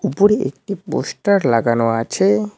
উপরে একটি পোস্টার লাগানো আছে।